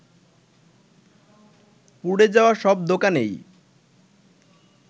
পুড়ে যাওয়া সব দোকানই